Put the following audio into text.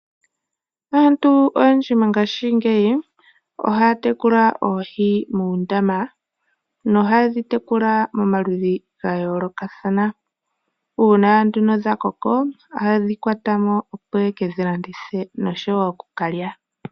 Aantu oyendji mongashingeyi ohaya tekula oohi momadhiya, ngoka yega nduluka po. Ngele dha koko ohadhi hugwa mo, aantu etaya landitha nenge dhi ningi oshiyelelwa shaanegumbo mboka.